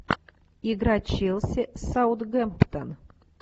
игра челси саутгемптон